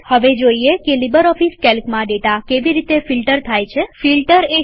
હવે જોઈએ કે લીબરઓફીસ કેલ્કમાં ડેટા કેવી રીતે ફિલ્ટર એટલેકે નીતારવામાં થાય છે